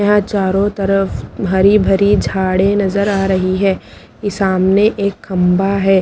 यहा चारो तरफ भरी भरी झाड़े नजर आ रही है ई सामने एक खम्बा है।